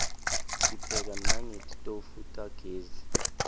sipheka nangetitofu tagezi